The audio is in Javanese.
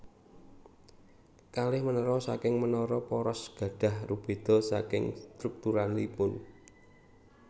Kalih menara saking menara poros gadah rubeda saking strukturalipun